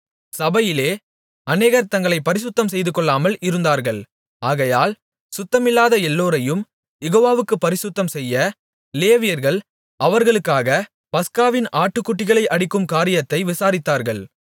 சபையிலே அநேகர் தங்களைப் பரிசுத்தம் செய்துகொள்ளாமல் இருந்தார்கள் ஆகையால் சுத்தமில்லாத எல்லோரையும் யெகோவாவுக்குப் பரிசுத்தம்செய்ய லேவியர்கள் அவர்களுக்காகப் பஸ்காவின் ஆட்டுக்குட்டிகளை அடிக்கும் காரியத்தை விசாரித்தார்கள்